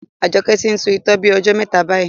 Ajoke ti n tu itọ́ bí ojó mẹta bayi